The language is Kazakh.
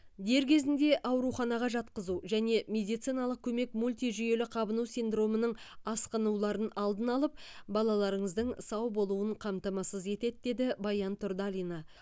дер кезінде ауруханаға жатқызу және медициналық көмек мультижүйелі қабыну синдромының асқынуларын алдын алып балаларыңыздың сау болуын қамтамасыз етеді деді баян тұрдалина